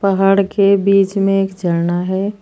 पहाड़ के बीच में एक झरना है।